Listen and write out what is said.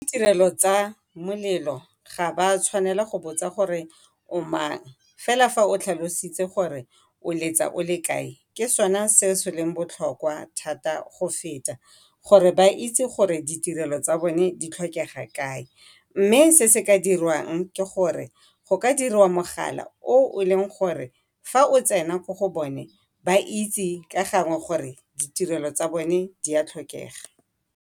Ba ditirelo tsa molelo ga ba tshwanela go botsa gore o mang, fela fa o tlhalositse gore o letsa o le kae ke sona se se leng botlhokwa thata go feta. Gore ba itse gore ditirelo tsa bone di tlhokega kae. Mme se se ka dirwang ke gore go ka diriwa mogala o leng gore fa o tsena ko go bone ba itse ka gangwe gore ditirelo tsa bone di a tlhokega.